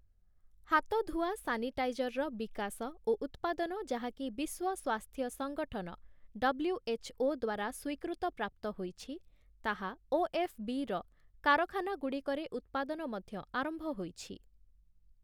ହାତଧୁଆ ସାନିଟାଇଜରର ବିକାଶ ଓ ଉତ୍ପାଦନ ଯାହାକି ବିଶ୍ୱ ସ୍ୱାସ୍ଥ୍ୟ ସଂଗଠନ ଡବ୍ଲ୍ୟୁ.ଏଚ୍‌.ଓ. ଦ୍ଵାରା ସ୍ୱୀକୃତ ପ୍ରାପ୍ତ ହୋଇଛି, ତାହା ଓ.ଏଫ୍‌.ବି.ର କାରଖାନାଗୁଡ଼ିକରେ ଉତ୍ପାଦନ ମଧ୍ୟ ଆରମ୍ଭ ହୋଇଛି ।